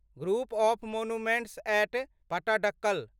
group of monuments at Pattadakal